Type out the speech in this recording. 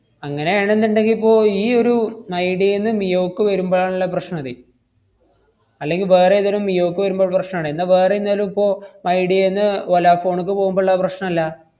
അങ്ങനെ ആണെന്നുണ്ടെങ്കി ഇപ്പൊ ഈയൊരു മൈഡിയേന്ന് മിയോക്ക് വരുമ്പഴാണല്ലോ പ്രശ്‌നാവുന്നെ അല്ലെങ്കി വേറേതേലും മിയോക്ക് വരുമ്പോ ള്ള പ്രശ്‌നാണ്. എന്നാ വേറെന്തേലും ഇപ്പോ മൈഡിയേന്ന് വോലാഫോണ്ക്ക് പോവുമ്പോള്ള പ്രശ്‌നല്ല.